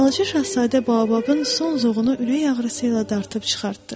Balaca şahzadə bababın son zoğunu ürək ağrısı ilə dartıb çıxartdı.